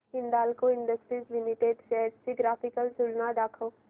Hindalco industries limited shares ची graphical तुलना दाखव